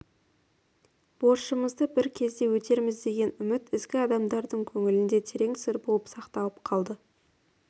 борышымызды бір кезде өтерміз деген үміт ізгі адамдардың көңілінде терең сыр болып сақталып қалды